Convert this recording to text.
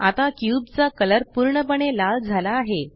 आता क्यूब चा कलर पूर्णपणे लाल झाला आहे